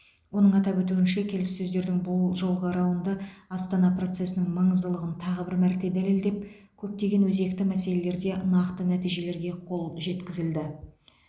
оның атап өтуінше келіссөздердің бұл жолғы раунды астана процесінің маңыздылығын тағы бір мәрте дәлелдеп көптеген өзекті мәселелерде нақты нәтижелерге қол жеткізілді